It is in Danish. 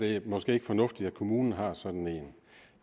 er det måske ikke fornuftigt at kommunen har sådan en